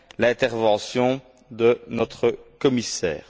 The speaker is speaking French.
l'intervention de notre commissaire.